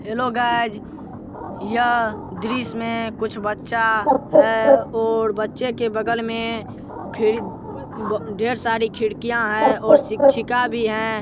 Hello guys यह दृश्य में कुछ बच्चा है और बच्चे के बगल में खिड़ी- ढेर सारी खिड़कियां हैं और शिक्षिका भी है।